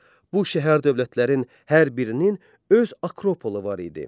Bu şəhər dövlətlərin hər birinin öz akropolu var idi.